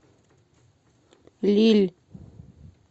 лилль